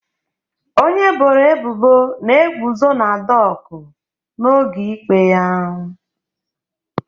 Onye eboro ebubo na-eguzo na dọkụ n'oge ikpe ya